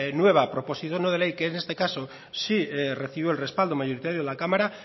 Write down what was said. nueva proposición no de ley que es en este caso sí recibió el respaldo mayoritario de la cámara